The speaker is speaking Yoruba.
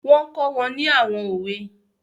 Wọ́n kọ́ wọn ní àwọn òwe